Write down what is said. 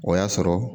O y'a sɔrɔ